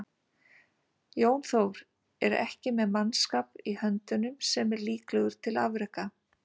Jón Þór er ekki með mannskap í höndunum sem er líklegur til afreka.